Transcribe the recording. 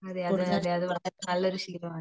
അതെ അതെ അത് വളരെ ശെരിയാണ്